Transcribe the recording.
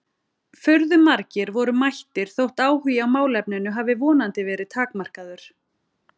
Furðu margir voru mættir þótt áhugi á málefninu hafi vonandi verið takmarkaður.